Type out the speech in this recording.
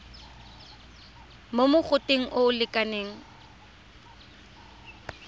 mo mogoteng o o lekanang